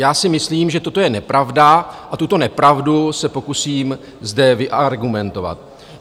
Já si myslím, že toto je nepravda, a tuto nepravdu se pokusím zde vyargumentovat.